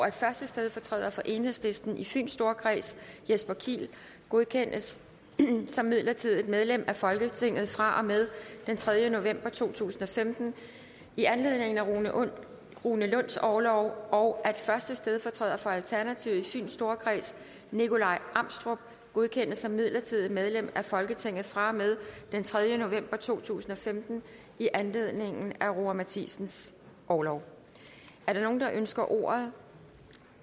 at første stedfortræder for enhedslisten i fyns storkreds jesper kiel godkendes som midlertidigt medlem af folketinget fra og med den tredje november to tusind og femten i anledning af rune rune lunds orlov og at første stedfortræder for alternativet i fyns storkreds nikolaj amstrup godkendes som midlertidigt medlem af folketinget fra og med den tredje november to tusind og femten i anledning af roger matthisens orlov er der nogen der ønsker ordet